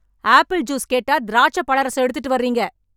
apple juice கேட்டா திராட்சை பழரசம் எடுத்துட்டு வர்றீங்க